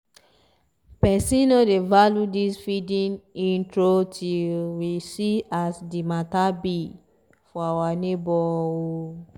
person no dey value this feeedin intro till we see as the matter be for our nebo oh